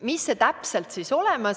Mis miski täpselt on?